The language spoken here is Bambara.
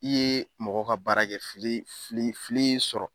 I ye mɔgɔ ka baara kɛ fili fili fili y'i sɔrɔ.